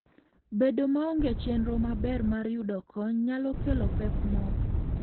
Bedo maonge chenro maber mar yudo kony nyalo kelo pek moko.